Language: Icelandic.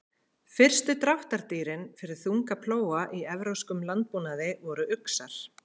Fyrstu dráttardýrin fyrir þunga plóga í evrópskum landbúnaði voru uxar.